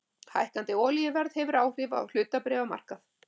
Hækkandi olíuverð hefur áhrif á hlutabréfamarkaði